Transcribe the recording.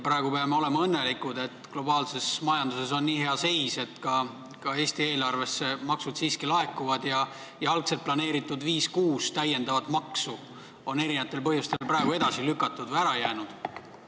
Praegu peame olema õnnelikud, et globaalses majanduses on nii hea seis, et ka Eesti eelarvesse maksud siiski laekuvad ja algselt planeeritud viis-kuus täiendavat maksu on eri põhjustel praegu edasi lükatud või ära jäänud.